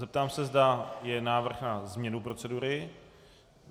Zeptám se, zda je návrh na změnu procedury.